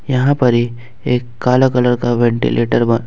यहां पर ही एक काला कलर का वेंटिलेटर बा--